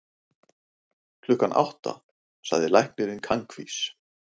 Klukkan átta, sagði læknirinn kankvís.